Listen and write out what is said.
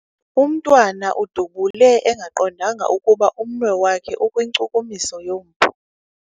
Umntwana udubule engaqondanga ukuba umnwe wakhe ukwinkcukumiso yompu.